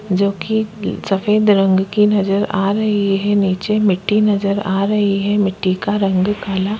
जो की सफ़ेद रंग की नजर आ रही है नीचे मिट्टी नजर आ रही है मिट्टी का रंग काला--